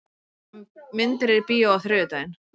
Maggi, hvaða myndir eru í bíó á þriðjudaginn?